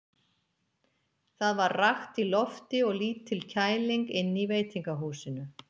Það var rakt í lofti og lítil kæling inni í veitingahúsinu.